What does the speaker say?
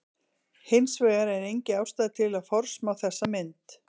Hins vegar er engin ástæða til að forsmá þessa mynd.